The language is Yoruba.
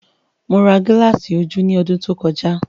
Mo ra gilasi ojú ní ọdún tó kọjá